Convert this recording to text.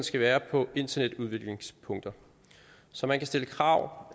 skal være på internetudviklingspunkter så man kan stille krav